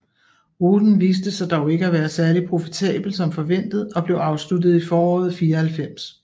Ruten viste sig dog ikke at være særlig profitable som forventet og blev afsluttet i foråret 1994